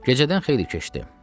Gecədən xeyli keçdi.